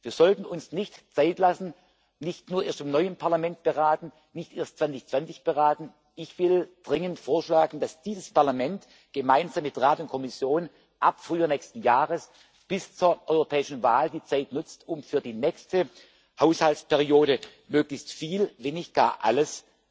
Wir sollten uns nicht Zeit lassen, nicht erst im neuen Parlament beraten, nicht erst 2020 beraten. Ich will dringend vorschlagen, dass dieses Parlament gemeinsam mit Rat und Kommission ab Frühjahr des nächsten Jahres bis zur Europawahl die Zeit nutzt, um für die nächste Haushaltsperiode möglichst viel, wenn nicht gar alles